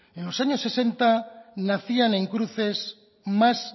en los años sesenta nacían en cruces más